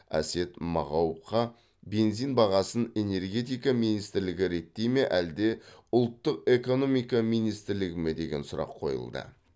әсет мағауовқа бензин бағасын энергетика министрлігі реттей ме әлде ұлттық экономика министрлігі ме деген сұрақ қойылды